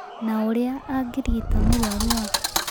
Na ũrĩa angĩrigita mũrũaru wake